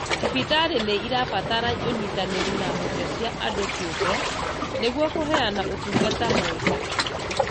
Thibitarĩ nĩirabatara ũnyitanĩri na honge cia andũ kĩũmbe nĩguo kũheana ũtungata mwega